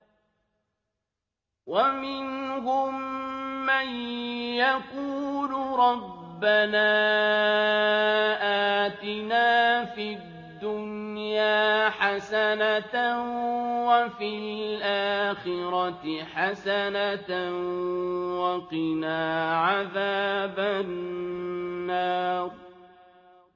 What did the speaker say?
وَمِنْهُم مَّن يَقُولُ رَبَّنَا آتِنَا فِي الدُّنْيَا حَسَنَةً وَفِي الْآخِرَةِ حَسَنَةً وَقِنَا عَذَابَ النَّارِ